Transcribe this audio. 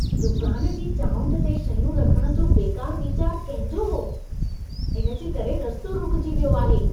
दुकान जी चाऊंठ ते शयूं रखण जो बेकार वीचार कंहिं जो हो? इन जे करे रस्तो रुकिजी वियो आहे।